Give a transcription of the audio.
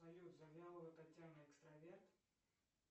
салют завьялова татьяна экстраверт